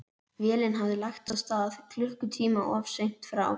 Vélin hafði lagt að stað klukkutíma of seint frá